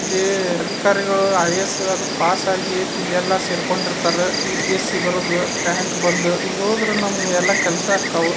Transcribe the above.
ಇಲ್ಲಿ ಅಧಿಕಾರಿಗಳು ಐ.ಎ.ಎಸ್. ಪಾಸಾಗಿ ಇಲ್ಲೆಲ್ಲಾ ಸೇರ್ಕೊಂಡಿರ್ತಾರ. ಯು.ಪಿ.ಎ.ಸಿ. ಬರ್ದು ರಾಂಕ್ ಬಂದು ಇಲ್ಹೋದ್ರಾ ನಮ್ಗ ಎಲ್ಲ ಕೆಲ್ಸಾಕ್ಕಾವು.